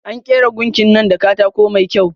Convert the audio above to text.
An kera gunkin nan da katako mai kyau.